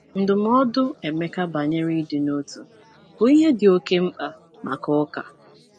Ndụmọdụ Emeka banyere ịdị n'otu bụ ihe dị oke mkpa maka ụka.